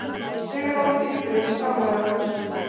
Sigrún grípur inn í samræðurnar